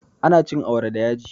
Ana cin awara da yaji